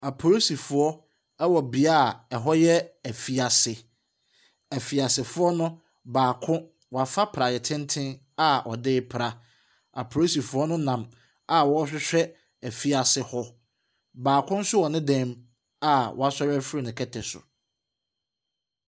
Apolisifoɔ ɛwɔ beaeɛ a ɛhɔ yɛ ɛfiase. Ɛfiasefoɔ no baako afa prayɛ tenten a ɔde pra. Apolisifoɔ no nam a ɔrehwehwɛ ɛfiase hɔ. Baako nso wɔ ne dɛm a w'asore ɛfiri ne kɛtɛ so.